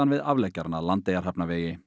við afleggjarann að